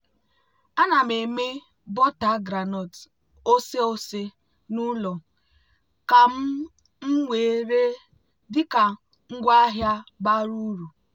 ana m eme bọta groundnut oseose n'ụlọ ka m m wee ree dị ka ngwaahịa bara uru.